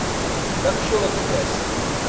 दक्षिण एक्सप्रेस